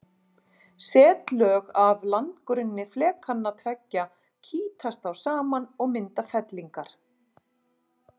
Setlög af landgrunni flekanna tveggja kýtast þá saman og mynda fellingar.